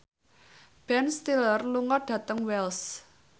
Ben Stiller lunga dhateng Wells